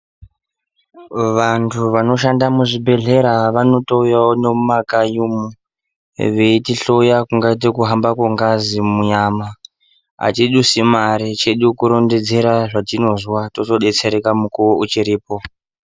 Vantu vanoshanda muzvibhedhlera vanotouyawo nemumakanyi umwu veitihloya kungaite kuhamba kwengazi munyama. Atidusi mare chedu kurondedzera zvatinozwa tozodetsereka mukuwo uchiripo.